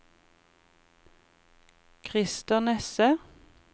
Christer Nesse